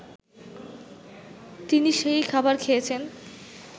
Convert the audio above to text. তিনি সেই খাবার খেয়েছেন